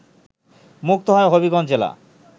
মুক্ত হয় হবিগঞ্জ জেলা